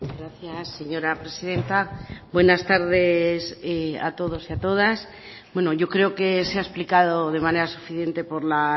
gracias señora presidenta buenas tardes a todos y a todas bueno yo creo que se ha explicado de manera suficiente por la